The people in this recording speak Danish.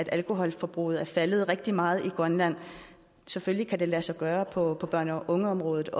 alkoholforbruget er faldet rigtig meget i grønland selvfølgelig kan det også lade sig gøre på børne og ungeområdet